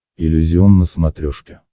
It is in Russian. иллюзион на смотрешке